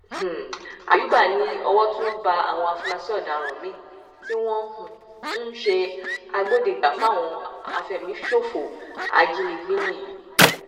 um àyùbá ni owó tún bá àwọn afurasí ọdaràn míín tí wọn um ń ṣe agbódegbà fáwọn àfẹmíṣòfò ajínigbé wọnyí